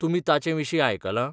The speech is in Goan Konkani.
तुमी ताचे विशीं आयकलां?